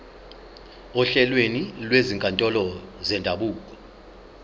ohlelweni lwezinkantolo zendabuko